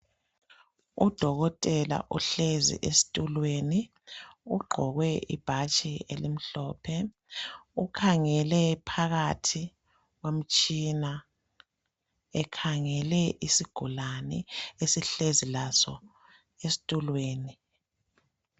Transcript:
udokotela ohlezi esitulweni ugqoke ibhatshi elimhlophe ukhangele phakathi komtshina ekhangele isigulane esihlezi laso esitulweni